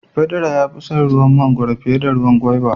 Pedro ya fi son ruwa mangoro fiye da ruwan gwaiva.